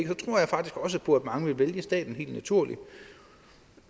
mange vælge staten helt naturligt